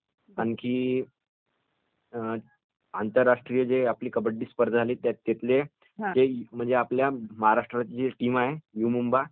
आणखी आंतरराष्ट्रीय जे आपली कबड्डी स्पर्धा झाली त्यात आपल्या महाराष्ट्राची जी टीम आहे, यु मुंबा